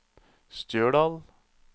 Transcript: Stjørdal